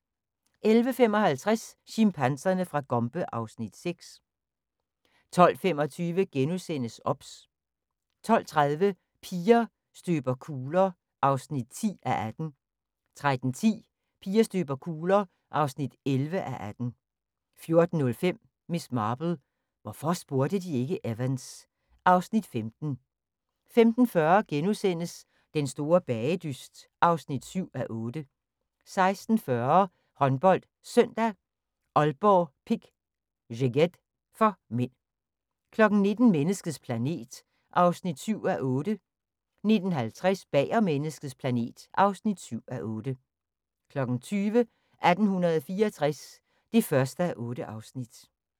11:55: Chimpanserne fra Gombe (Afs. 6) 12:25: OBS * 12:30: Piger støber kugler (10:18) 13:10: Piger støber kugler (11:18) 14:05: Miss Marple: Hvorfor spurgte de ikke Evans? (Afs. 15) 15:40: Den store bagedyst (7:8)* 16:40: HåndboldSøndag: Aalborg-Pick Szeged (m) 19:00: Menneskets planet (7:8) 19:50: Bag om menneskets planet (7:8) 20:00: 1864 (1:8)